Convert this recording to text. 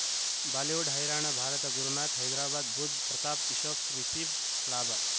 Bollywood ಹೈರಾಣ ಭಾರತ ಗುರುನಾಥ ಹೈದರಾಬಾದ್ ಬುಧ್ ಪ್ರತಾಪ್ ಯೂಶುಫ್ ರಿಷಬ್ ಲಾಭ